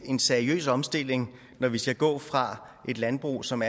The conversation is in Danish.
en seriøs omstilling når vi skal gå fra et landbrug som